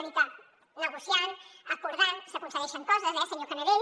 és a dir que negociant acordant s’aconsegueixen coses eh senyor canadell